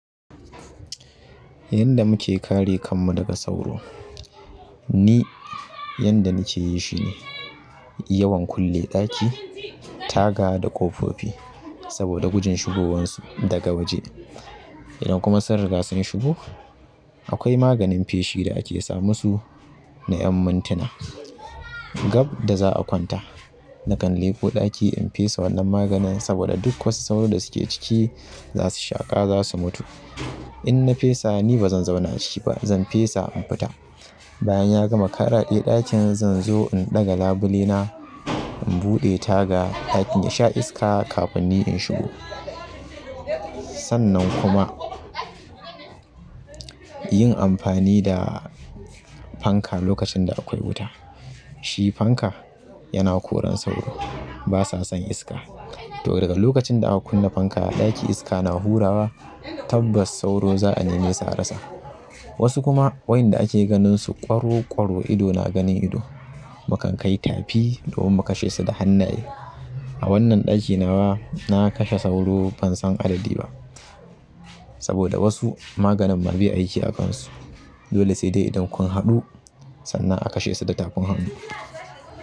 Yanda muke kare kanmu daga sauro ni yanda nike yi shine yawan kulle ɗaki, taga da ƙofofi saboda gujin shigowarsu daga waje. Idan kuma sun riga sun shigo akwai maganin feshi da ake sa musu na ƴan mantina gab da za'a kwanta nakan leƙo ɗaki in fesa wannan maganin saboda duk wasu sauro da suke ciki za su shaƙa za su mutu. In na fesa ni bazan zauna a ciki ba zan fesa in fita. Bayan ya gama ƙaraɗe ɗakin zan zo in ɗaga labule na, in buɗe taga ɗakin ya sha iska kafin ni in shigo. Sannan kuma yin amfani da fanka lokacin da akwai wuta shi fanka yana koran sauro basa son iska to daga lokacin da aka kunna fanka a ɗaki iska na hurawa tabbas sauro za'a neme su a rasa. Wasu kuma waƴanda ake ganin su ƙwaro ƙwaro ido na ganin ido mukan kai tafi domin mu kashe su da hannaye. A wannan ɗaki nawa na kashe sauro ban san adadi ba saboda wasu maganin ma bai aiki a kan su dole sai dai idan kun haɗu sannan a kashe su da tafin hannu.